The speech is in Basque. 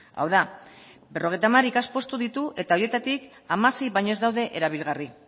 hau da berrogeita hamar ikaspostu ditu eta horietatik hamasei baino ez daude erabilgarri